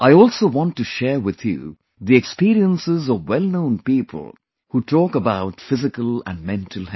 I also want to share with you the experiences of wellknown people who talk about physical and mental health